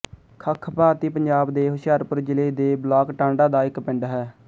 ਖੱਖ ਭਾਰਤੀ ਪੰਜਾਬ ਦੇ ਹੁਸ਼ਿਆਰਪੁਰ ਜ਼ਿਲ੍ਹੇ ਦੇ ਬਲਾਕ ਟਾਂਡਾ ਦਾ ਇੱਕ ਪਿੰਡ ਹੈ